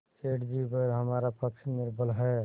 सेठ जीपर हमारा पक्ष निर्बल है